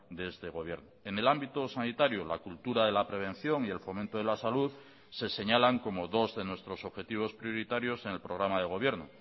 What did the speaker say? de este gobierno en el ámbito sanitario la cultura de la prevención y el fomento de la salud se señalan como dos de nuestros objetivos prioritarios en el programa de gobierno